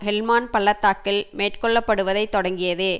Helmand பள்ளத்தாக்கில் மேற்கோள்ளப்படுவதை தொடங்கியது